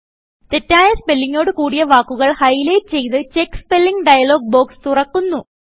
തെറ്റായ സ്പെല്ലിങ്ങൊട് കുടിയ വാക്കുകൾ ഹൈലൈറ്റ് ചെയ്ത് ചെക്ക് സ്പെല്ലിങ് ഡയലോഗ് ബോക്സ് തുറക്കപ്പെടുന്നു